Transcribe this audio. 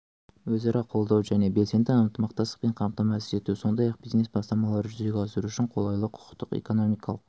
өзара қолдау және белсенді ынтымақтастықпен қамтамасыз ету сондай-ақ бизнес-бастамаларды жүзеге асыру үшін қолайлы құқықтық экономикалық